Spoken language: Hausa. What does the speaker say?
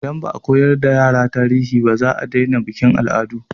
Idan ba a koyar da yara tarihi, za a daina bikin al'adu.